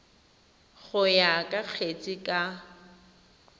go ya ka kgetse ka